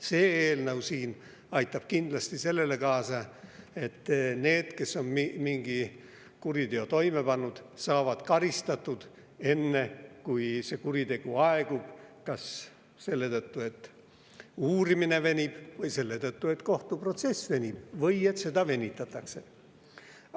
See eelnõu siin aitab kindlasti kaasa, et need, kes on mingi kuriteo toime pannud, saavad karistatud, enne kui kuritegu aegub kas selle tõttu, et uurimine venib, või selle tõttu, et kohtuprotsess venib või et seda venitatakse.